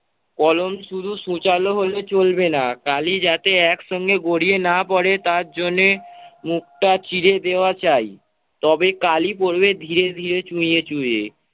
কলম শুধু সূচালু হলেই চলবে না কালি যাতে একসঙ্গে গড়িয়ে না পড়ে তার জন্যে মুখটা চিরে দেওয়া চাই। তবে কালি পড়বে ধীরে ধীরে চুইয়ে চুইয়ে